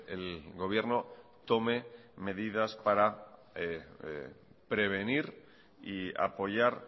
el gobierno tome medidas para prevenir y apoyar